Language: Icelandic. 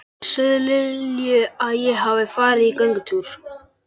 Segðu Lilju að ég hafi farið í göngutúr.